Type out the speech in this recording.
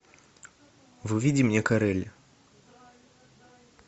выведи мне карель